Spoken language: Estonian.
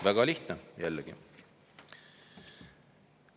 Väga lihtne, jällegi.